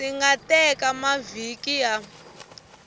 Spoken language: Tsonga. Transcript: swi nga teka mavhiki ya